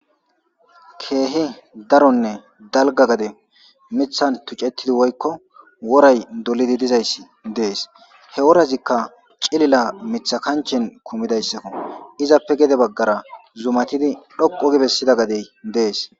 Keehe daronne dalga gade mithan tuccettidi woykko woray dolidi dizayssi dees he worazikka cilila mitha kanchen kumidayssakko izappe gede baggara zumatidi dhoqo gibessida gadey dees.